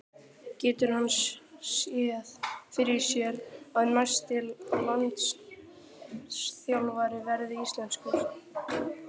Getur hann séð fyrir sér að næsti landsliðsþjálfari verði íslenskur?